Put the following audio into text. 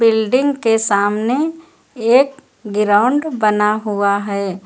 Building के सामने एक ग्राउंड बना हुआ है।